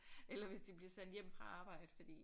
Eller hvis de bliver sendt hjem fra arbejde fordi